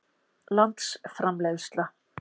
landsframleiðsla